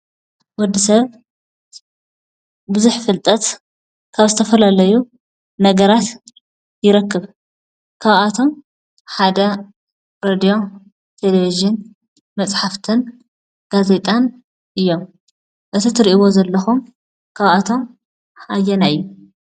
ወዲ ሰብ ብዙሕ ፍልጠት ካብ ዝተፈላለዩ ነገራት ይረክብ፡፡ ካብኣቶም ሓደ ሬድዮ፣ ቴለቭዥን፣ መፅሓፍትን ጋዜጣን እዮም፡፡ እዚ እትርእዎ ዘሎኩም ካብኣቶም ኣየናይ እዩ?